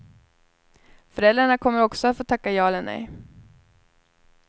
Föräldrarna kommer också att få tacka ja eller nej.